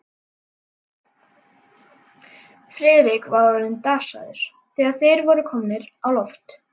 Friðrik var orðinn dasaður, þegar þeir voru komnir á loft.